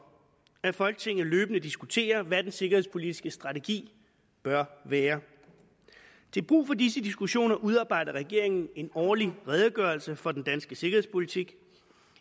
at folketinget løbende diskuterer hvad den danske sikkerhedspolitiske strategi bør være til brug for disse diskussioner udarbejder regeringen en årlig redegørelse for den danske sikkerhedspolitik